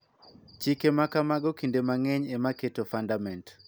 Chike ma kamago kinde mang�eny ema keto fundament .